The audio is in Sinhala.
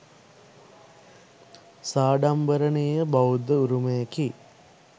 සාඩම්බරණීය බෞද්ධ උරුමයකි.